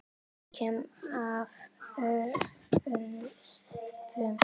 Ég kem af öræfum.